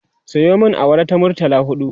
Sayo min awara ta murtala huɗu